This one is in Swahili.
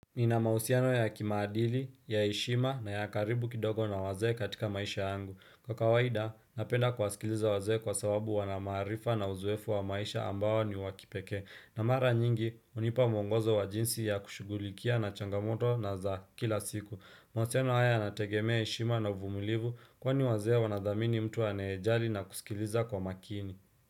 Nina mahusiano ya kimaadili, ya heshima na ya karibu kidogo na wazee katika maisha yangu. Kwa kawaida, napenda kuwasikiliza wazee kwa sababu wana maarifa na uzoefu wa maisha ambao ni wa kipekee. Na mara nyingi, hunipa mwongozo wa jinsi ya kushughulikia na changamoto na za kila siku. Mahusiano haya yanategemea heshima na uvumilivu, kwani wazee wanathamini mtu anayejali na kusikiliza kwa makini.